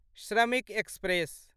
श्रमिक एक्सप्रेस